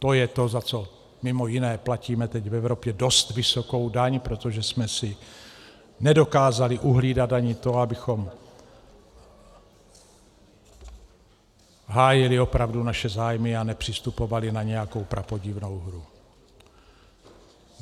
To je to, za co mimo jiné platíme teď v Evropě dost vysokou daň, protože jsme si nedokázali uhlídat ani to, abychom hájili opravdu naše zájmy a nepřistupovali na nějakou prapodivnou hru.